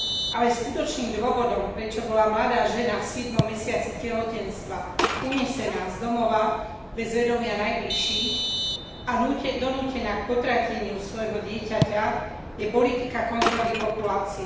Ale skutočným dôvodom, prečo bola mladá žena v siedmom mesiaci tehotenstva unesená z domova, bez vedomia najbližších, a donútená k potrateniu svojho dieťaťa, je politika kontroly populácie.